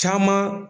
Caman